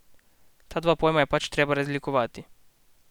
Ta dva pojma je pač treba razlikovati.